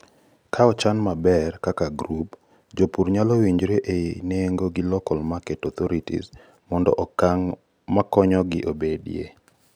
kaa ochan maber kaka grup ,jopur nyalo winjre ei nengo gi local market authorities mondo okang' makonyogi obedie